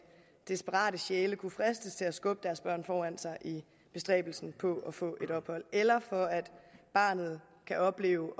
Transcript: desperate sjæle kunne fristes til at skubbe deres børn foran sig i bestræbelsen på at få et ophold eller for at barnet kan opleve